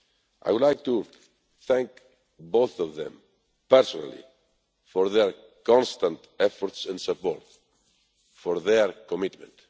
I would like to thank both of them personally for their constant efforts and support, and their commitment.